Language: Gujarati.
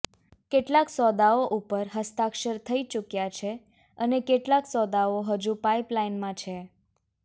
કેટલાક સોદાઓ ઉપર હસ્તાક્ષર થઇ ચુક્યા છે અને કેટલાક સોદાઓ હજુ પાઇપલાઈનમાં છે